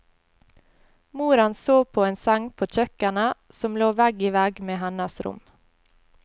Moren sov på en seng på kjøkkenet, som lå vegg i vegg med hennes rom.